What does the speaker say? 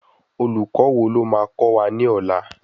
Olùkó wo lo máa kọ́ wa ní ọlá?